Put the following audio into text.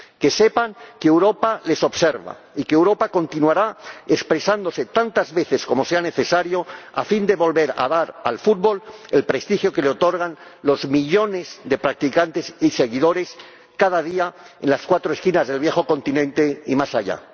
Que sepan que Europa les observa y que Europa continuará expresándose, tantas veces como sea necesario, a fin de volver a dar al fútbol el prestigio que le otorgan los millones de practicantes y seguidores cada día, en las cuatro esquinas del viejo continente y más allá.